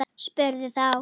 Spurði þá